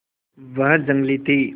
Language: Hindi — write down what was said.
वह जंगली थी